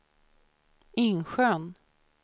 Insjön